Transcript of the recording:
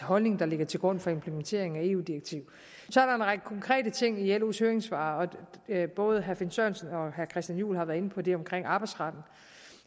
holdning der ligger til grund for implementeringen af eu direktivet så er der en række konkrete ting i los høringssvar både herre finn sørensen og herre christian juhl har været inde på det omkring arbejdsretten